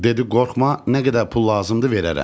Dedi qorxma, nə qədər pul lazımdır verərəm.